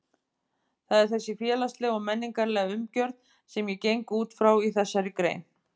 Það er þessi félagslega og menningarlega umgjörð sem ég geng út frá í þessari grein.